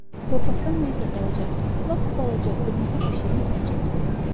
torpaqdan nəysə balaca, lap balaca, qırmızı bir şeyin parçası görünür.